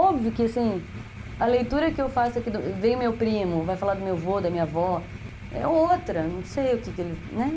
Óbvio que, assim, a leitura que eu faço aqui, vem o meu primo, vai falar do meu vô, da minha avó, é outra, não sei o que ele, né?